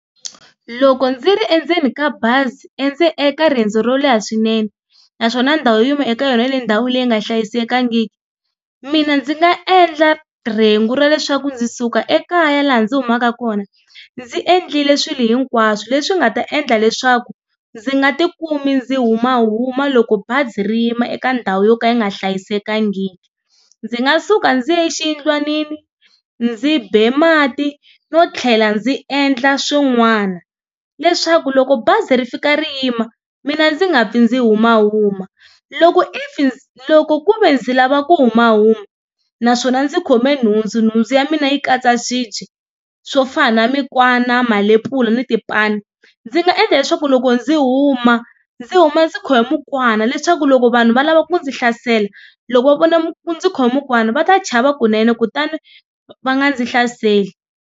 Loko ndzi ri endzeni ka bazi eka riendzo ro leha swinene naswona ndhawu eka yona yi le ka ndhawu leyi nga hlayisekangiki mina ndzi nga endla rhengu ra leswaku ndzi suka ekaya laha ndzi humaka kona ndzi endlile swilo hinkwaswo leswi nga ta endla leswaku ndzi nga tikumi ndzi humahuma loko bazi ri yima eka ndhawu yo ka yi nga hlayisekangiki ndzi nga suka ndzi ya exiyindlwanini ndzi be mati no tlhela ndzi endla swin'wana leswaku loko bazi ri fika ri yima mina ndzi nga pfi ndzi humahuma. Loko if loko ku ve ndzi lava ku humahuma naswona ndzi khome nhundzu nhundzu ya mina yi katsa swibyi swo fana na mikwana malepula na tipani ndzi nga endla leswaku loko ndzi huma ndzi huma ndzi khome mukwana leswaku loko vanhu va lava ku ndzi hlasela loko va vona ndzi khome mukwana va ta chava kunene kutani va nga ndzi hlaseli.